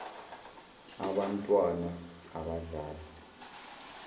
abant wana abadlala